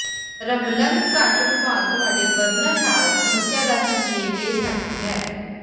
rumbling ਘੱਟ ਰੁਮਾਲ ਤੁਹਾਡੇ ਬਰਨਰ ਨਾਲ ਸਮੱਸਿਆ ਦਾ ਸੰਕੇਤ ਦੇ ਸਕਦੀ ਹੈ